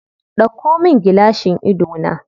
Ɗauko min gilashin idona.